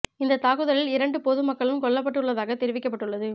இந்த தாக்குதலில் இரண்டு பொது மக்களும் கொல்லப்பட்டு உள்ளதாக தெரிவிக்கப்பட்டு உள்ளது